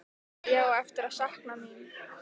Ég á eftir að sakna mín.